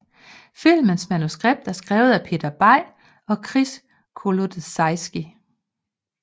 Filmens manuskript er skrevet af Peter Bay og Kris Kolodziejski